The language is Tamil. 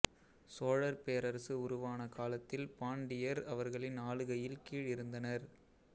சோழர் பேரரசு உருவான காலத்தில் பாண்டியர் அவர்களின் ஆளுகையில் கீழ் இருந்தனர்